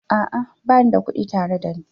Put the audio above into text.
A'a, ba ni da kuɗi tare da ni.